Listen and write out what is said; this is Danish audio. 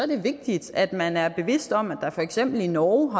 det vigtigt at man er bevidst om at der for eksempel i norge